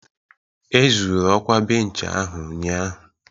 Ezuru okwa bench ahụ ụnyahụ